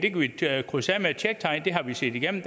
her krydse af med et tjektegn det har vi set igennem